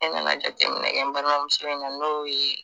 ne nana jateminɛkɛ n balimamuso in na n'o ye